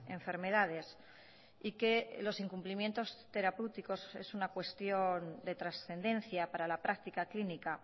enfermedades y que los incumplimientos terapéuticos es una cuestión de trascendencia para la práctica clínica